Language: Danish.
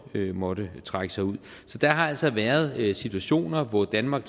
måtte trække sig ud der har altså været situationer hvor danmark